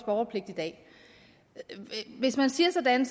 borgerpligt i dag hvis man siger sådan